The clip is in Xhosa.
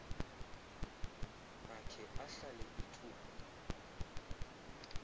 akhe ahlale ithuba